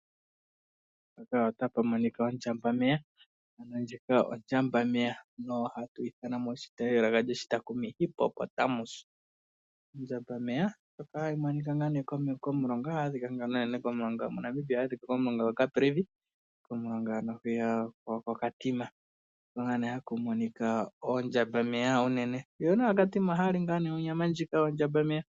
Oshinamwenyo shika osho ondjambameya, naatakumi ohaye shi ithana oHippopotamus. Ondjambameya ohayi adhika unene koKatimamulilo, momulonga gwaCaprivi. Aakatima yamwe ohaya li onyama yoshinamwenyo shika.